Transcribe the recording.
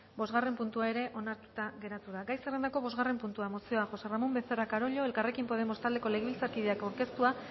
bosgarren puntua ere onartuta geratu da gai zerrendako bosgarren puntua mozioa josé ramón becerra carollo elkarrekin podemos taldeko legebiltzarkideak aurkeztua